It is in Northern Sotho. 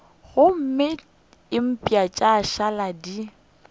gomme mpa tša šala di